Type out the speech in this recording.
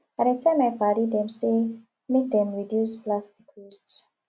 i dey tell my paddy dem sey make dem reduce plastic waste